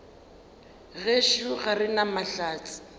gešo ga re na mahlatse